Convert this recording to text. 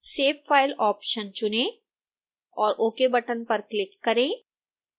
save file option चुनें और ok button पर क्लिक करें